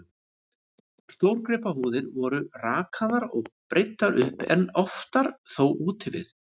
Stórgripahúðir voru og rakaðar og breiddar upp, en oftar þó úti við.